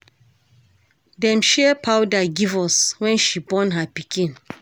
Dem share powder give us wen she born her pikin.